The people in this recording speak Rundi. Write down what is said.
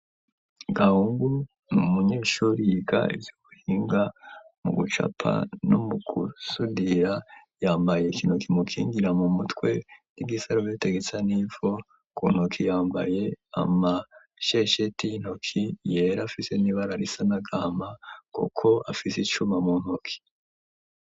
Gahungu n'umunyeshure yiga ivy'ubuhinga mu gucapa no mu kusudira, yambaye ikintu kimukingira mu mutwe n'igisarubete gisa n'ivu kuntoke yambaye amashesheti y'intoki yera afite nibara risa nagahama kuko afise icuma mu ntoke.